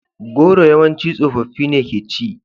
Goro yawance tsoffi ne ke ci.